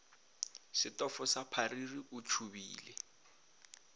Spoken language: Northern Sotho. setofo sa phariri o tšhubile